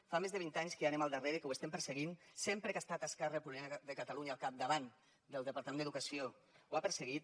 fa més de vint anys que hi anem al darrere que ho estem perseguint sempre que ha estat esquerra republicana de catalunya al capdavant del departament d’educació ho ha perseguit